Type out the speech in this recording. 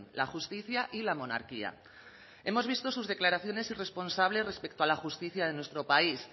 la justicia y la monarquía hemos visto sus declaraciones irresponsables respecto a la justicia de nuestro país